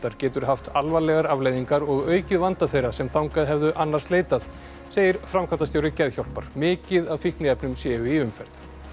getur haft alvarlegar afleiðingar og aukið vanda þeirra sem þangað hefðu annars leitað segir framkvæmdastjóri Geðhjálpar mikið af fíkniefnum séu í umferð